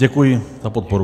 Děkuji za podporu.